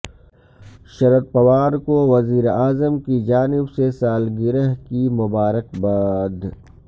شردپوار کو وزیراعظم کی جانب سے سالگرہ کی مبارکباد